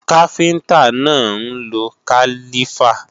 Káfíntá náà ń lo kálífà